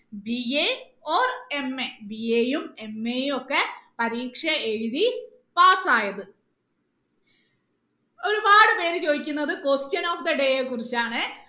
BAOrMA യും ഒക്കെ പരീക്ഷ എഴുതി Pass ആയത് ഒരുപാട് പേര് ചോദിക്കുന്നത് Question of the day യെ കുറിച്ചാണ്